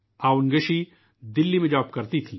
آوُنگ شی دلّی میں جاب کرتی تھیں